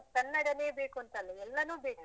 ಕನ್ನಡನೇ ಬೇಕು ಅಂತಲ್ಲಾ, ಎಲ್ಲನೂ ಬೇಕು.